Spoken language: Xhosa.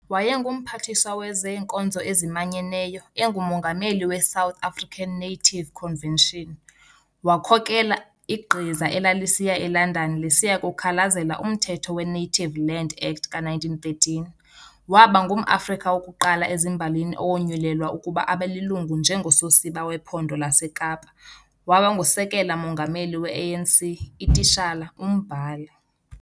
WayenguMphathiswa wezeenkonzo ezimanyeneyo, enguMongameli we-'South African Native Convention', wakhokhela igqiza elalisiya e-London lisiya kukhalazela umthetho we-Native Land Act ka-1913, waba ngumAfrika wokuqala ezimbalini owonyulelwa ukuba abelilungu njengososiba wePhondo laseKapa, waba ngusekela Mongameli we-ANC, ititshala, umbhali.